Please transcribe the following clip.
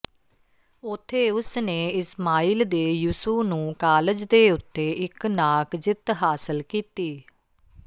ਉੱਥੇ ਉਸ ਨੇ ਇਸਮਾਈਲ ਦੇ ਯਿਸੂ ਨੂੰ ਕਾਲਜ ਦੇ ਉੱਤੇ ਇੱਕ ਨਾਕ ਜਿੱਤ ਹਾਸਲ ਕੀਤੀ